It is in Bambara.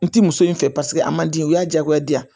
N ti muso in fɛ paseke a ma di o y'a diyagoya di yan